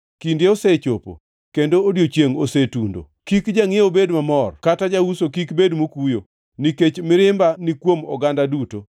Kinde osechopo, kendo odiechiengʼ osetundo. Kik jangʼiewo bed mamor kata jauso kik bed mokuyo, nikech mirimba ni kuom oganda duto.